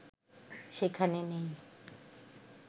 সেখানে নেই